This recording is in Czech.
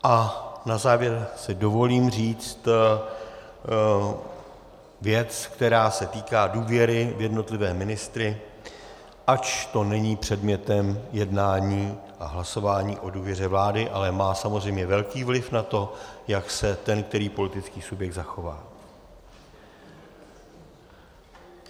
A na závěr si dovolím říct věc, která se týká důvěry v jednotlivé ministry, ač to není předmětem jednání a hlasování o důvěře vládě, ale má samozřejmě velký vliv na to, jak se ten který politický subjekt zachová.